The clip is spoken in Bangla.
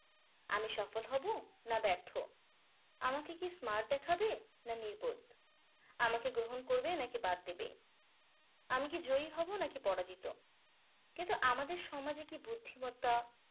আমি সফল হবো না ব্যর্থ আমাকে কি smart দেখাবে না নির্বোধ আমাকে গ্রহণ করবে নাকি বাদ দিবে আমি কি জয়ী হবো নাকি পরাজিত কিন্তু আমাদের সমাজে কি বুদ্ধিমত্তা